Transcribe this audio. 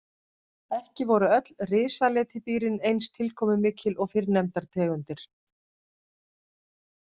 Ekki voru öll risaletidýrin eins tilkomumikil og fyrrnefndar tegundir.